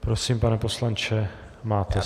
Prosím, pane poslanče, máte slovo.